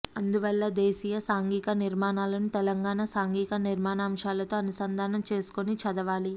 అందువల్ల దేశీయ సాంఘిక నిర్మాణాలను తెలంగాణ సాంఘిక నిర్మాణాంశాలతో అనుసంధానం చేసుకుని చదవాలి